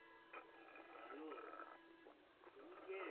হুম ভালো তুমি কে?